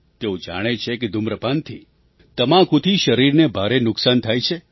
તેઓ જાણે છે કે ધૂમ્રપાનથી તમાકુથી શરીરને ભારે નુકસાન થાય છે